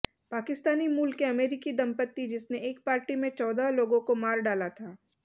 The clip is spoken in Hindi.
पाकिस्तानी मूल के अमरीकी दंपति जिसने एक पार्टी में चौदह लोगों को मार डाला था